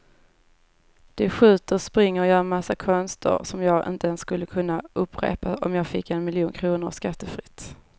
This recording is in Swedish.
De skjuter, springer och gör en massa konster som jag inte ens skulle kunna upprepa om jag fick en miljon kronor skattefritt.